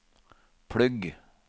plugg